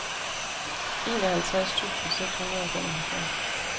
enoghalvtreds tusind seks hundrede og femoghalvfjerds